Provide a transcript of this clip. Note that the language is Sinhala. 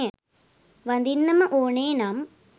වදින්නම ඕනේ නම්.